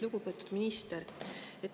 Lugupeetud minister!